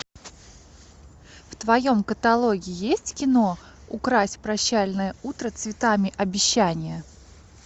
в твоем каталоге есть кино укрась прощальное утро цветами обещания